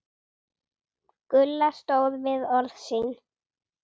Gulla stóð við orð sín.